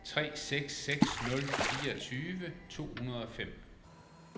tre seks seks nul fireogtyve to hundrede og fem